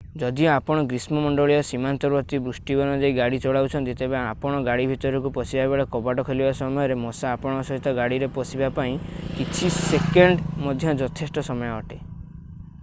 ଯଦିଓ ଆପଣ ଗ୍ରୀଷ୍ମ ମଣ୍ଡଳୀୟ ସୀମାନ୍ତବର୍ତ୍ତୀ ବୃଷ୍ଟିବନ ଦେଇ ଗାଡି ଚଲାଉଛନ୍ତି ତେବେ ଆପଣ ଗାଡି ଭିତରକୁ ପଶିବାବେଳେ କବାଟ ଖୋଲିବା ସମୟରେ ମଶା ଆପଣଙ୍କ ସହିତ ଗାଡିରେ ପଶିବା ପାଇଁ କିଛି ସେକେଣ୍ଡ ମଧ୍ୟ ଯଥେଷ୍ଟ ସମୟ ଅଟେ